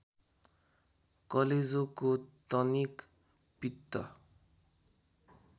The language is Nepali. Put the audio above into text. कलेजोको टनिक पित्त